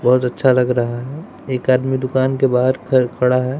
बहोत अच्छा लग रहा है। एक आदमी दुकान के बाहर खड़ा है।